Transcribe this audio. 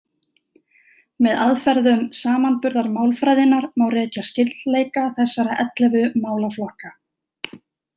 Með aðferðum samanburðarmálfræðinnar má rekja skyldleika þessara ellefu málaflokka.